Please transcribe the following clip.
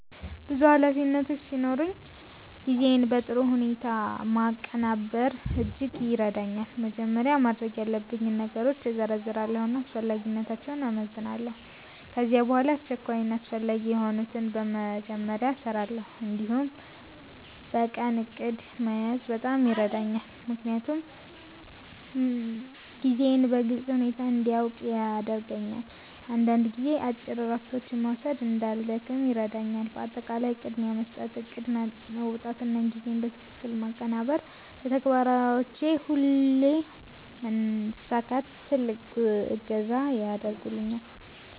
ብዙ ኃላፊነቶች ሲኖሩኝ ጊዜን በጥሩ ሁኔታ ማቀናበር እጅግ ይረዳኛል። መጀመሪያ ማድረግ ያለብኝን ነገሮች እዘርዝራለሁ እና አስፈላጊነታቸውን እመዝናለሁ። ከዚያ በኋላ አስቸኳይ እና አስፈላጊ የሆኑትን በመጀመሪያ እሰራለሁ። እንዲሁም የቀን እቅድ መያዝ በጣም ይረዳኛል፣ ምክንያቱም ጊዜዬን በግልጽ ሁኔታ እንዲያውቅ ያደርገኛል። አንዳንድ ጊዜ አጭር እረፍቶች መውሰድ እንዳልደክም ይረዳኛል። በአጠቃላይ ቅድሚያ መስጠት፣ እቅድ ማውጣት እና ጊዜን በትክክል ማቀናበር ለተግባሮቼ ሁሉ መሳካት ትልቅ እገዛ ያደርጉልኛል።